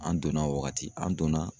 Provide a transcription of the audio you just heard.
An donna o waagati an donna